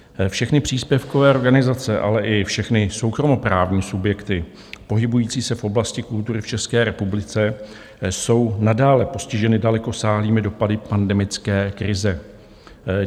Všechny příspěvkové organizace, ale i všechny soukromoprávní subjekty pohybující se v oblasti kultury v České republice jsou nadále postiženy dalekosáhlými dopady pandemické krize.